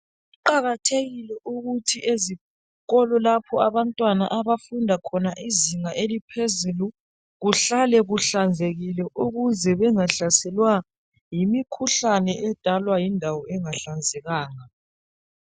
Kuqakathekile ukuthi ezikolo lapho abantwana abafunda khona izinga eliphezulu kuhlale kuhlanzekile ukuze bengahlaselwa yimikhuhlane edalwa yindawo engahlanzekanga.